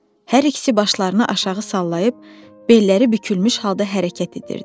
Hər ikisi başlarını aşağı sallayıb belləri bükülmüş halda hərəkət edirdi.